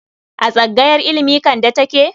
A tsangayar ilimi Kande take?